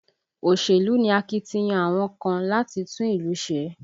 Òṣèlú ni akitiyan àwọn kan láti tún ìlú ṣe